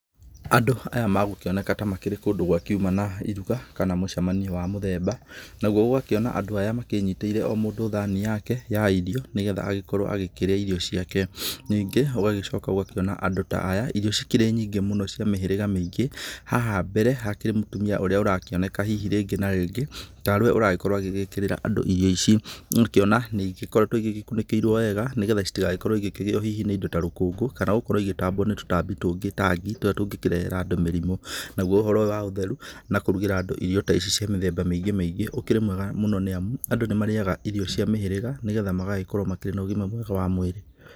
Andũ aya magũkĩoneka ta makĩrĩ kũndũ gũkiuma na iruga kana mũcemanio wa mũthemba naguo ũgakĩona andũ aya makĩnyitĩire o mũndũ thani yake ya irio nĩ getha agĩkorwo agĩkĩrĩa irio ciake. Ningĩ ũgagĩcoka ũgakĩona andũ ta aya irio cikĩrĩ nyingĩ mũno cia mĩhĩrĩga mĩingĩ. Haha mbere hakĩrĩ mũtumia ũrĩa ũrakĩoneka hihi rĩngĩ na rĩngĩ ta rĩ we ũragĩkorwo agĩgĩkĩrĩra andũ irio icio. Ũgakĩona ningĩ nĩ igĩkoretwo igĩkunĩkĩirwo wega nĩ getha citigagĩkorwo igĩkĩgĩo hihi nĩ indo ta rũkũngũ kana gũkorwo igĩtambwo nĩ tũtambi tũngĩ ta ngi. Tũrĩa tũngĩkĩrehera andũ mĩrimũ, naguo ũhoro ũyũ wa ũtheru na kũrugĩra andũ irio ta ici cia mĩthemba mĩingĩ mĩingĩ ũkĩrĩ mwega mũno nĩ amu andũ nĩ marĩaga irio cia mĩhĩrĩga, nĩ getha magagĩkorwo makĩrĩ na ũgima mwega wa mwĩrĩ.